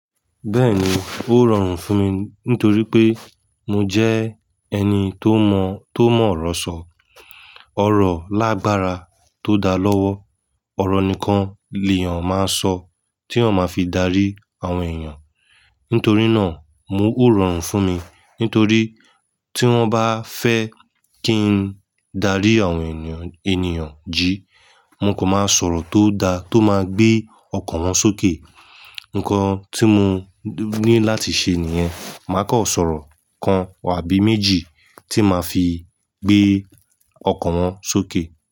Bẹ́ẹ̀ni, ó rọrùn fún mi nítorí pé mo jẹ́ ẹni tó mọ̀, tó mọ̀ ọ̀rọ̀ sọ. Ọ̀rọ̀ lágbára tó da lọ́wọ́, ọ̀rọ̀ nìkan ni èèyàn máa ń sọ tí wọn máa fi darí àwọn èèyàn. Nítorí náà, mo ó rọrùn fún mi. Nítorí tí wọ́n bá fẹ́ kí n darí àwọn ènìyàn, ènìyàn ji, mo kò máa ń sọ̀rọ̀ tó da, tó máa gbé ọkàn wọn sókè. Ǹkan tí mo ní láti ṣe nìyẹn. Màá kọ̀ sọ̀rọ̀ kan àbí méjì tí màá fi gbé ọkàn wọn sókè.